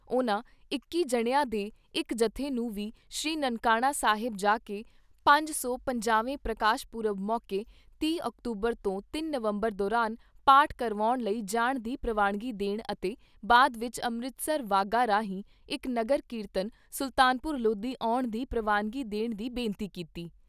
ਉਨ੍ਹਾਂ ਇੱਕੀ ਜਣਿਆਂ ਦੇ ਇਕ ਜੱਥੇ ਨੂੰ ਵੀ ਸ੍ਰੀ ਨਾਨਕਾਣਾ ਸਾਹਿਬ ਜਾ ਕੇ ਪੰਜ ਸੌ ਪੰਜਾਹਵੇਂ ਪ੍ਰਕਾਸ਼ ਪੁਰਬ ਮੌਕੇ ਤੀਹ ਅਕਤੂਬਰ ਤੋਂ ਤਿੰਨ ਨਵੰਬਰ ਦੌਰਾਨ ਪਾਠ ਕਰਾਉਣ ਲਈ ਜਾਣ ਦੀ ਪ੍ਰਵਾਨਗੀ ਦੇਣ ਅਤੇ ਬਾਅਦ ਵਿਚ ਅੰਮ੍ਰਿਤਸਰ ਵਾਹਗਾ ਰਾਹੀਂ ਇਕ ਨਗਰ ਕੀਰਤਨ ਸੁਲਤਾਨਪੁਰ ਲੋਧੀ ਆਉਣ ਦੀ ਪ੍ਰਵਾਨਗੀ ਦੇਣ ਦੀ ਬੇਨਤੀ ਕੀਤੀ।